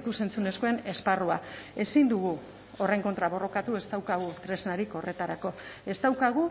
ikus entzunezkoen esparrua ezin dugu horren kontra borrokatu ez daukagu tresnarik horretarako ez daukagu